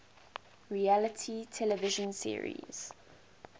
reality television series